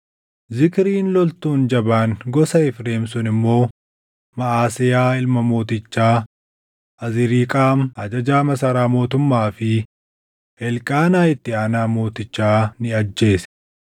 Zikriin loltuun jabaan gosa Efreem sun immoo Maʼaseyaa ilma mootichaa, Azriiqaam ajajaa masaraa mootummaa fi Elqaanaa itti aanaa mootichaa ni ajjeese.